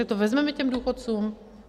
Tak to vezmeme těm důchodcům?